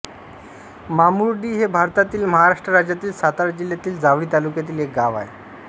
मामुर्डी हे भारतातील महाराष्ट्र राज्यातील सातारा जिल्ह्यातील जावळी तालुक्यातील एक गाव आहे